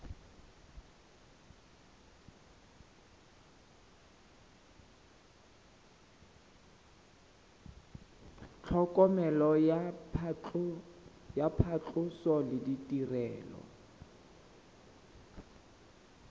tlhokomelo ya phatlhoso le ditirelo